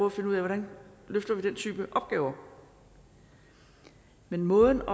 at finde ud af hvordan vi løfter den type opgaver men måden